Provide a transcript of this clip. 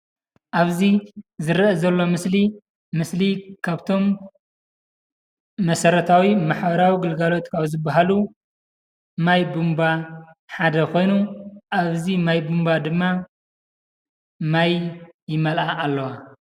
ኣብዚ ዝረአ ዘሎ ምስሊ ምስሊ ካብቶም መሰረታዊ ማሕበራዊ ግልጋሎት ካብ ዝባሃሉ ማይቡምባ ሓደ ኾይኑ ኣብዚ ምይ ቡምባ ድማ ማይ ይመልኣ ኣለዋ።